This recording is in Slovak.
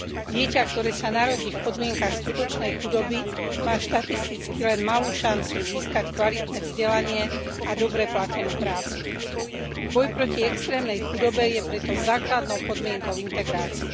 Dieťa, ktoré sa narodí v podmienkach skutočnej chudoby, má štatisticky len malú šancu získať kvalitné vzdelanie a dobre platenú prácu. Boj proti extrémnej chudobe je preto základnou podmienkou integrácie.